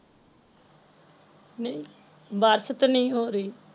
ਨਹੀਂ ਬਾਰਸ਼ ਤੇ ਨਹੀਂ ਹੋ ਰਹੀ